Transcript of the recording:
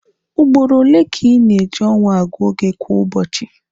Ugboro ole ka ị na-eji ọnwa agụ oge kwa ụbọchị?